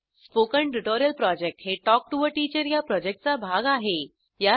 spoken tutorial project हे talk to teacher या प्रॉजेक्टचा भाग आहे